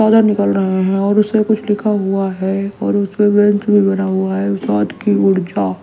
ज्यादा निकल रहे हैं और उससे कुछ लिखा हुआ है और उसमें वेंस भी बना हुआ है स्वाद की ऊर्जा--